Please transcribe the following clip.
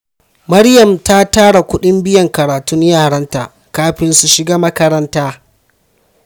Maryam ta tara kudin biyan karatun yaranta kafin su shiga makaranta.